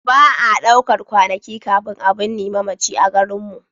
Ba a ɗaukar kwanaki kafin a binne mamaci a garinmu.